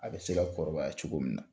A bɛ se kɔrɔbaya cogo min na